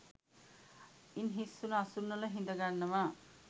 ඉන් හිස්වුණ අසුන්වල හිඳගන්නවා.